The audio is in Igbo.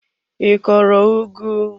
I kọrọ ugu?